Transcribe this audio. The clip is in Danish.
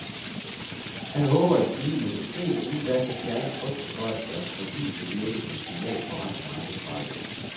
Han håber, at et forlig i industrien inden da kan fjerne frygten for, at deres forlig vil virke som signal på resten af arbejdsmarkedet.